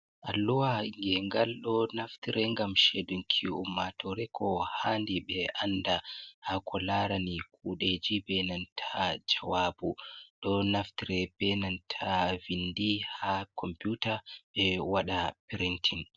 Alluwa ngengal ɗo naftre ngam shedunki yumma tore kow handi ɓe anda hako larani kuɗeji ɓenanta jawabu ɗo naftire benanta vindi ha komputa ɓe waɗa pirintin